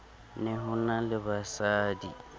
ne ho na le basadi